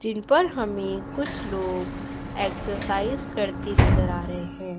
जिन पर हमे कुछ लोग एक्साइज करते नजर आ रहे हैं।